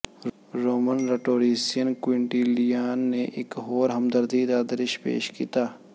Roman rhetorician Quintilian ਨੇ ਇਕ ਹੋਰ ਹਮਦਰਦੀ ਦਾ ਦ੍ਰਿਸ਼ ਪੇਸ਼ ਕੀਤਾ